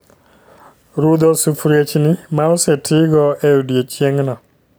Rudho sufuriechni ma oseti go e odiechieng no